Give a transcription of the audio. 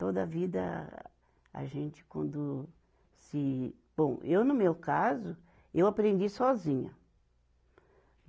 Toda vida a gente quando se. Bom, eu no meu caso, eu aprendi sozinha.